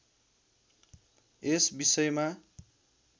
यस विषयमा